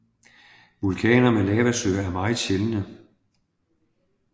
Vulkaner med lavasøer er meget sjældne